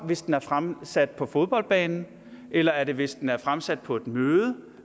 hvis den er fremsat på fodboldbanen eller er det hvis den er fremsat på et møde